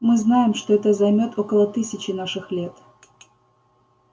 мы знаем что это займёт около тысячи наших лет